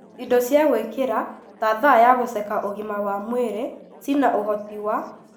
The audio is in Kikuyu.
Indo cia gwĩkĩra ta thaa ya gũceka ũgima wa mwĩrĩ ciĩna ũhoti wa;